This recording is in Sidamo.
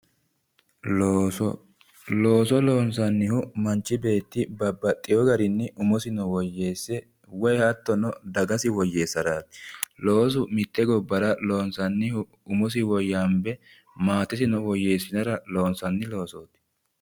looso looso loonsannihu manchi beetti babbaxewo garinni umosino woyyeesse woyi hattono dagasi woyyeessaraati loosu mitte gobbara loonsannihu umosi woyyaambe maatesino woyyeessinara loonsanni loosooti.